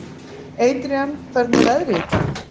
Adrian, hvernig er veðrið í dag?